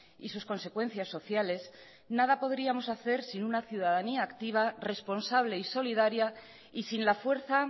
y sus consecuencias sociales nada podríamos hacer sin una ciudadanía activa responsable y solidaria y sin la fuerza